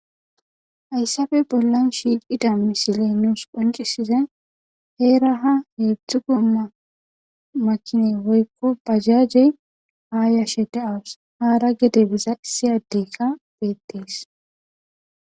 Hayssape bollan shiiqida misiley nuus qoncisize heera ha heedzdzuko makine woykko bajajey haa yashe daawus haara gede biza issi addeykka beettees.